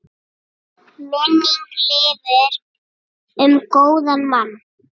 Minning lifir um góðan mann.